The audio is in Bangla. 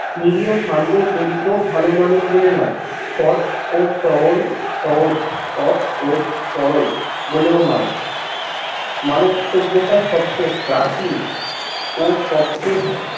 নিরীহ, শান্ত, দরিদ্র, ভালো মানুষ বলে নয় সৎ, ও সহল সহজ, সৎ, ও সরল বলেও নয় মানব সভ্যতার সবচেয়ে প্রাচীন ও সবচেয়ে